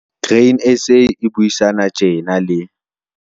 Grain SA e buisana tjena le